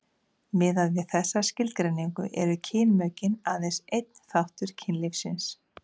miðað við þessa skilgreiningu eru kynmökin aðeins einn þáttur kynlífsins